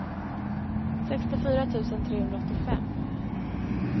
sextiofyra tusen trehundraåttiofem